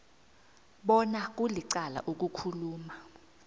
bona kulicala ukukhuluma